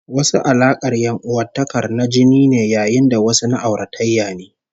Wasu alaƙar ƴan'uwantakar na jini ne, yayin da wasu na auratayya ne